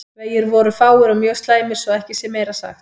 Vegir voru fáir og mjög slæmir svo að ekki sé meira sagt.